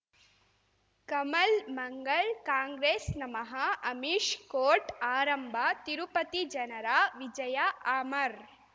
ಕಮಲ್ ಮಂಗಳ್ ಕಾಂಗ್ರೆಸ್ ನಮಃ ಅಮಿಷ್ ಕೋರ್ಟ್ ಆರಂಭ ತಿರುಪತಿ ಜನರ ವಿಜಯ ಅಮರ್